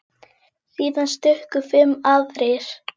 Síðan stukku fimm aðrir.